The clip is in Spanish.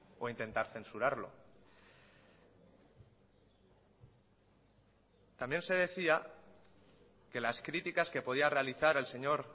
o intentar censurarlo también se decía que las críticas que podía realizar el señor